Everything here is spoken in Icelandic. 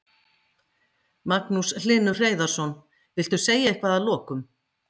Magnús Hlynur Hreiðarsson: Viltu segja eitthvað að lokum?